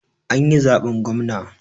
An yi zaɓen gwamna